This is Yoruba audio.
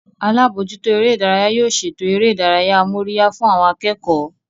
Alábòójútó eré ìdárayá yóò ṣètò eré ìdárayá amóríyá fún àwọn akẹ́kọ̀ọ́